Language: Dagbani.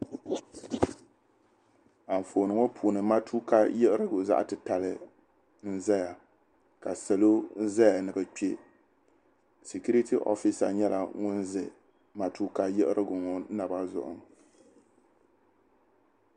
Anfooni ŋɔ puuni matuuka yiɣirigu zaɣ' titali n-zaya ka salo zaya ni bɛ kpe. Sikiriti wofiisa nyɛla ŋun ʒi matuuka yiɣirigu ŋɔ naba zuɣu.